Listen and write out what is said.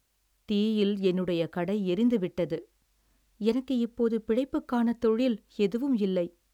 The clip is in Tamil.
தீயில் என்னுடைய கடை எரிந்து விட்டது, எனக்கு இப்போது பிழைப்புக்கான தொழில் எதுவும் இல்லை.